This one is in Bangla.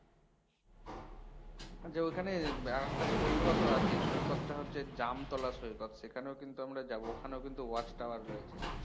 আচ্ছা ঐখানে আর একটা সৈকতও আছে সৈকতটা হচ্ছে জামতলা সৈকত সেখানেও কিন্তু আমরা যাবো ওখানেও কিন্তু watch tower রয়েছে